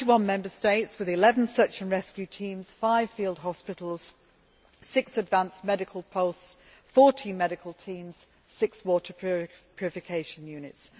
Twenty one Member States with 11 search and rescue teams, five field hospitals, six advance medical posts, 40 medical teams, six water purification units